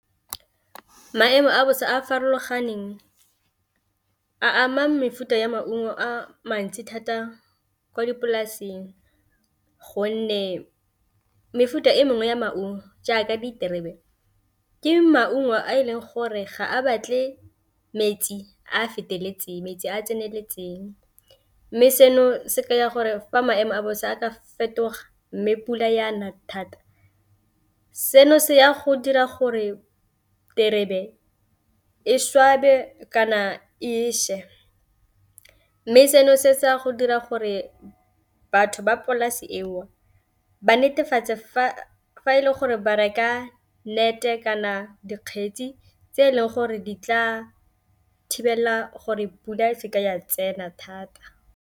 Maemo a bosa a a farologaneng a ama mefuta ya maungo a mantsi thata ko dipolasing gonne mefuta e mengwe ya maungo jaaka diterebe ke maungo a e leng gore ga a batle metsi a a feteletseng metsi a a tseneletseng, mme seno se ka ya gore fa maemo a bosa a ka fetoga mme pula yana thata seno se ya go dira gore terebe e swabe kana e še. Mme seno se go dira gore batho ba polasi e o ba netefatse fa e le gore ba reka nnete kana dikgetsi tse e leng gore di tla thibelela gore pula seke ya tsena thata.